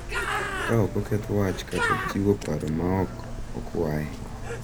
Ka ok oketh wach kata chiwo paro ma ok okwaye.